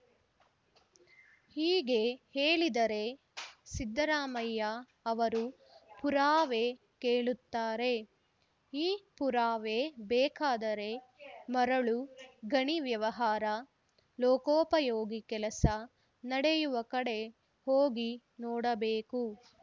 ಹೀಗೆ ಹೇಳಿದರೆ ಸಿದ್ದರಾಮಯ್ಯ ಅವರು ಪುರಾವೆ ಕೇಳುತ್ತಾರೆ ಈ ಪುರಾವೆ ಬೇಕಾದರೆ ಮರಳು ಗಣಿ ವ್ಯವಹಾರ ಲೋಕೋಪಯೋಗಿ ಕೆಲಸ ನಡೆಯುವ ಕಡೆ ಹೋಗಿ ನೋಡಬೇಕು